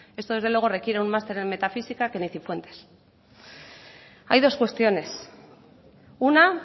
esto desde luego requiere un máster en metafísica que ni cifuentes hay dos cuestiones una